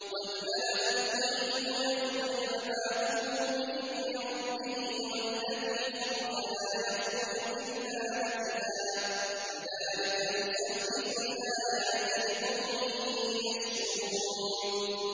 وَالْبَلَدُ الطَّيِّبُ يَخْرُجُ نَبَاتُهُ بِإِذْنِ رَبِّهِ ۖ وَالَّذِي خَبُثَ لَا يَخْرُجُ إِلَّا نَكِدًا ۚ كَذَٰلِكَ نُصَرِّفُ الْآيَاتِ لِقَوْمٍ يَشْكُرُونَ